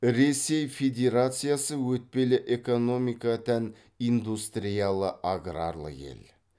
ресей федерациясы өтпелі экономика тән индустриялы аграрлы ел